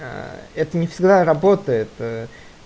аа это не всегда работает э